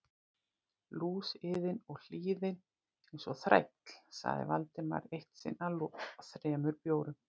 Lúsiðin og hlýðin eins og þræll sagði Valdimar eitt sinn að loknum þremur bjórum.